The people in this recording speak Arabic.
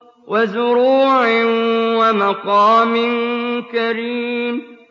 وَزُرُوعٍ وَمَقَامٍ كَرِيمٍ